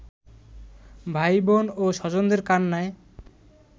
ভাই-বোন ও স্বজনদের কান্নায়